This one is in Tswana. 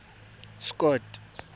scott